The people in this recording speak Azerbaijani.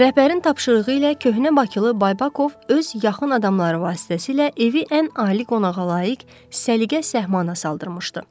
Rəhbərin tapşırığı ilə köhnə bakılı Baybakov öz yaxın adamları vasitəsilə evi ən ali qonağa layiq səliqə səhmana saldırmışdı.